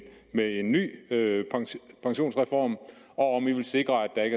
en ny pensionsreform og om man vil sikre at der